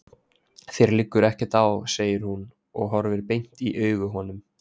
Þér liggur ekkert á, segir hún og horfir beint í augu honum.